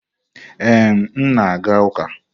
Ee, m na-aga ụka.